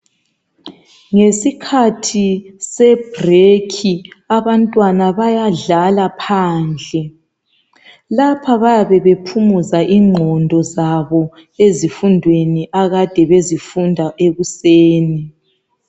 Ngesikhathi sebrekhi abantwana bayadlala phandle lapha bayabe bephumuza ingqondo zabo ezifundweni akade bezifunda ekuseni